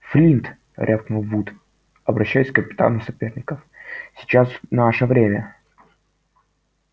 флинт рявкнул вуд обращаясь к капитану соперников сейчас наше время